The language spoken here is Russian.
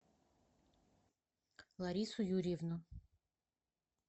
ларису юрьевну